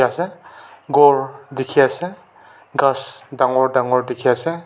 sai se gour dekhi ase gass dagur dagur dekhi ase.